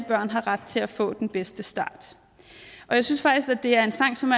børn har rettil at få den bedste start jeg synes faktisk at det er en sang som